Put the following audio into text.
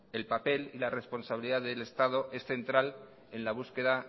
el papel y la responsabilidad del estado es central en la búsqueda